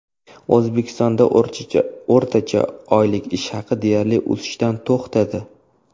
O‘zbekistonda o‘rtacha oylik ish haqi deyarli o‘sishdan to‘xtadi.